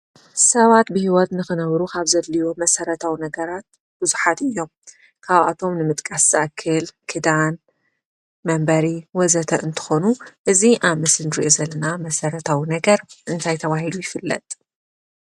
ሰባት ብሂወት ንክነብሩ ካብ ዘድልዩ መሰረታዊ ነገራት ቡዙሓት እዮም፡፡ ካብኣቶም ንምጥቃስ ዝኣክል ክዳን፣ መንበሪ ወዘተ እንትኮኑ እዚ ኣብ ምስሊ እንሪኦ ዘለና መሰረታዊ ነገር እንታይ ተባሂሉ ይፍለጥ?